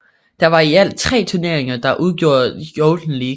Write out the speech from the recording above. Det var i alt tre turneringer der udgjorde Golden League